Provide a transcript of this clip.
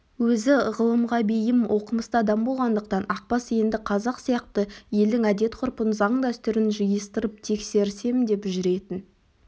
өзі ғылымға бейім оқымысты адам болғандықтан ақбас енді қазақ сияқты елдің әдет-ғұрпын заң-дәстүрін жиыстырып тексерсем деп жүретін